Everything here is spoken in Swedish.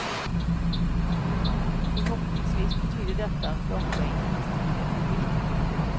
Förhoppningsvis betyder detta att långbänkarnas tid är förbi.